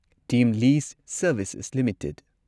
team list Services limited